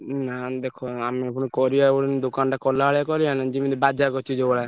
ଉଁ ନା ଦେଖ ଆମେ ପୁଣି କରିଆ ପୁଣି ଦୋକାନ ଟା କଲା ଭଳିଆ କରିଆନି ଜିମିତି ବାଜା କରିଚି ଯଉଁ ଭଳିଆ।